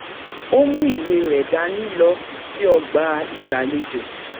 ó mú ìwé rẹ̀ dání lọ sí ọgbà ìgbàlejò